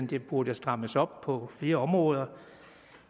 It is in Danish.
det burde strammes op på flere områder